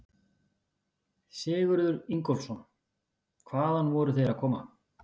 Sigurður Ingólfsson: Hvaðan voru þeir að koma?